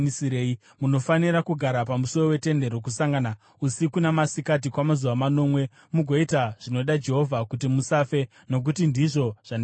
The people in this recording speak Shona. Munofanira kugara pamusuo weTende Rokusangana usiku namasikati kwamazuva manomwe mugoita zvinoda Jehovha kuti musafe nokuti ndizvo zvandarayirwa.”